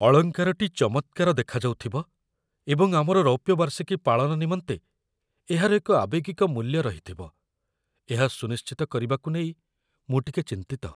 ଅଳଙ୍କାରଟି ଚମତ୍କାର ଦେଖାଯାଉଥିବ ଏବଂ ଆମର ରୌପ୍ୟ ବାର୍ଷିକୀ ପାଳନ ନିମନ୍ତେ ଏହାର ଏକ ଆବେଗିକ ମୂଲ୍ୟ ରହିଥିବ ଏହା ସୁନିଶ୍ଚିତ କରିବାକୁ ନେଇ ମୁଁ ଟିକେ ଚିନ୍ତିତ